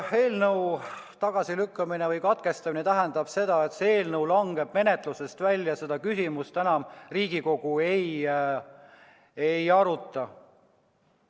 Eelnõu tagasilükkamine või katkestamine tähendab seda, et see eelnõu langeb menetlusest välja, seda küsimust enam Riigikogu ei aruta.